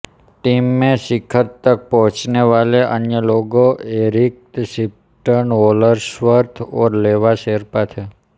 team में शिखर तक पहुंचने वाले अन्य लोग एरिक शिप्टन होल्सवर्थ और लेवा शेरपा थे